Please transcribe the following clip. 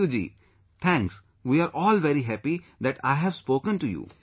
Thank you ji | Thanks | We are all very happy that I have spoken to you